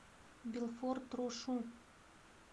белфорд рошу